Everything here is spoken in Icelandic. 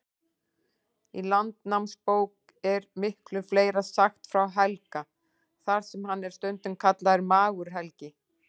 Í Landnámabók er miklu fleira sagt frá Helga, þar sem hann er stundum kallaður Magur-Helgi.